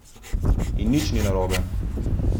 In nič ni narobe!